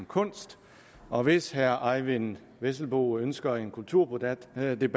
kunst og hvis herre eyvind vesselbo ønsker en kulturdebat